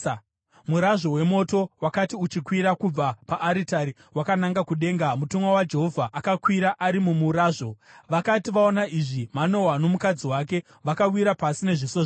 Murazvo wemoto wakati uchikwira kubva paaritari wakananga kudenga, mutumwa waJehovha akakwira ari mumurazvo. Vakati vaona izvi, Manoa nomukadzi wake vakawira pasi nezviso zvavo.